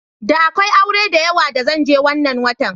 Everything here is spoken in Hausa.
Da akwai aure diyawa da zan je wannan watan.